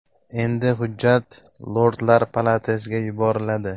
Endi hujjat Lordlar palatasiga yuboriladi.